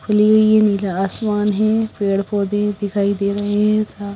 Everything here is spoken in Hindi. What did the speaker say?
खुली हुई हैं नीला आसमान हैं पेड़ पौधे दिखाई दे रहे हैं सा--